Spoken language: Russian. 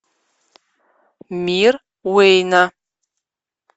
мир уэйна